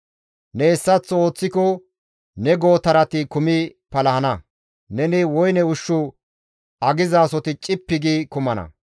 Ne hessaththo ooththiko ne gootarati kumi palahana; neni woyne ushshu agizasoti cippi gi kumana.